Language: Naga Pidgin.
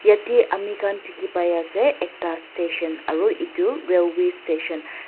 yatae amikhan dikhipaiase ekta station aro edu railway station .